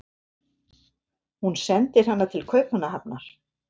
Hún sendir hana til Kaupmannahafnar.